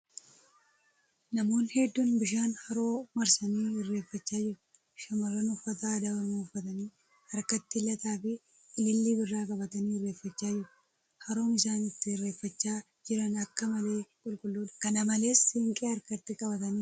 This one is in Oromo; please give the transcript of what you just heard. Namoonni hedduun bishaan haroo marsanii irreeffachaa jiru. Shamarran uffata aadaa Oromoo uffatanii harkatti lataa fi ilillii birraa qabatanii irreeffachaa jiru. Haroon isaan itti irreeffachaa jiran akka malee qulqulluudha. Kana malees, siinqee harkatti qabataniiru.